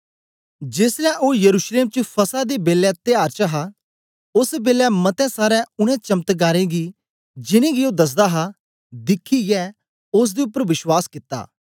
जेसलै ओ यरूशलेम च फसह दे बेलै त्यार च हा ओस बेलै मतें सारें उनै चमत्कारें गी जिन्नें गी ओ दसदा हा दिखियै ओसदे उपर विश्वास कित्ता